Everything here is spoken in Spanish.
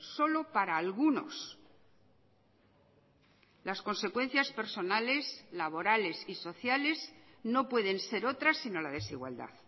solo para algunos las consecuencias personales laborales y sociales no pueden ser otras sino la desigualdad